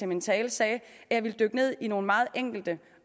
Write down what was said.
min tale sagde at jeg ville dykke ned i nogle meget enkelte